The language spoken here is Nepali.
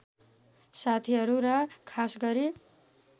साथीहरू र खासगरी